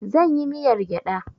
Zan yi miyar gyada